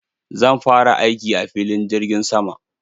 Zan fara aiki a filin jirgin sama.